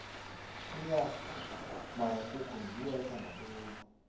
inyama yekukhu ngiyo ethengwa khulu